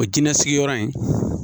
O kɛn nasigiyɔrɔ in